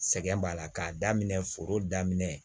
Sɛgɛn b'a la k'a daminɛ foro daminɛ